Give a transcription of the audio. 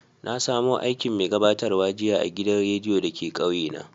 Na samo aikin mai gabatarwa jiya a'gidan radiyo da ke kauye na.